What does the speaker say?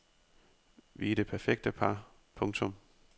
Vi er det perfekte par. punktum